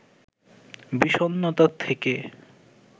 বিষণ্ণতা থেকে